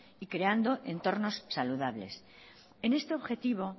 y creando entornos saludables en este objetivo